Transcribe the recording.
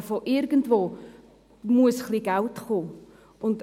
Aber von irgendwoher muss ein bisschen Geld kommen.